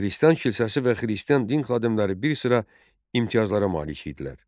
Xristian kilsəsi və xristian din xadimləri bir sıra imtiyazlara malik idilər.